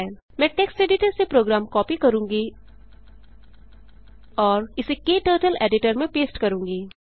मैं text editor से program copy करूँगी और इसे क्टर्टल्स एडिटर में पेस्ट करूँगी